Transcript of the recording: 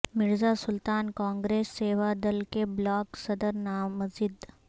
مرزا سلطان کانگریس سیوا دل کے بلاک صدر نامزد